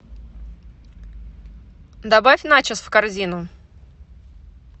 добавь начос в корзину